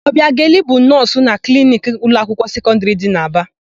Ọbiageli bụ nọọsụ na kliniki ụlọakwụkwọ sekọndịrị dị n'Aba.